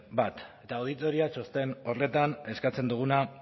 bat eta auditoria txosten horretan eskatzen duguna